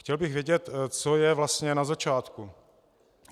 Chtěl bych vědět, co je vlastně na začátku.